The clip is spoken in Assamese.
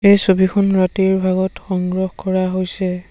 এই ছবিখন ৰাতিৰ ভাগত সংগ্ৰহ কৰা হৈছে।